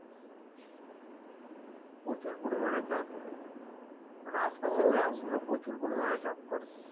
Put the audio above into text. প্রচুর পরিমাণে চাষ হয় এখানে মানে আশপাশের গ্রামগুলো প্রচুর পরিমাণে চাষ করে